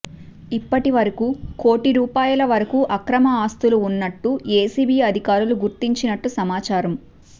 ఇప్పటి వరకు కోటీ రూపాయల వరకు అక్రమ ఆస్తులు ఉన్నట్టు ఎసిబి అధికారులు గుర్తించినట్టు సమాచారం